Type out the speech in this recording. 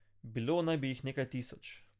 Bilo naj bi jih nekaj tisoč.